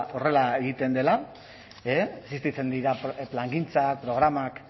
horrela egiten dela existitzen dira plangintzak programak